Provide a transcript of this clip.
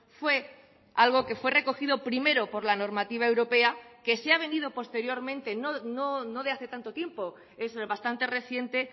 fue algo que fue recogido primero por la normativa europea que se ha venido posteriormente no de hace tanto tiempo es bastante reciente